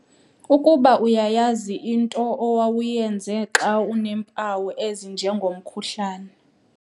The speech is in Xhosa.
Ukuba uyayazi into omawuyenze xa uneempawu ezinjengomkhuhlane.